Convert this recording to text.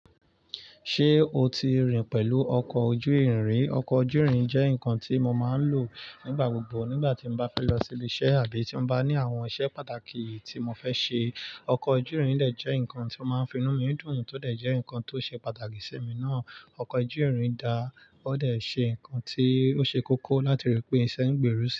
Ṣé o ti rìn pẹ̀lú ọkọ̀ ojú ìrìn? Ọkọ̀ ojú ìrìn jẹ́ nǹkan tí mo máa ń lò nígbà gbogbo nígbà tí mo bá fẹ́ lọ sí ilé iṣẹ́ àbí tí mo bá ní àwọn iṣẹ́ pàtàkì tí mo fẹ́ ṣe. Ọkọ̀ ojú ìrìn dẹ̀ jẹ́ nǹkan tí ó máa ń fi inú mi dùn, tó dẹ̀ jẹ́ nǹkan tó ṣe pàtàkì sí mi náà. Ọkọ̀ ojú ìrìn dà, ó dẹ̀ ṣe ǹkan tí ó ṣe kókó láti rí pé iṣẹ́ ń gbé rò sì.